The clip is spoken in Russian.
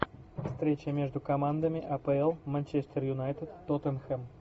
встреча между командами апл манчестер юнайтед тоттенхэм